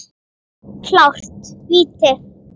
Klárt víti!